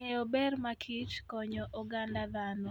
Ng'eyo ber makich konyo oganda dhano.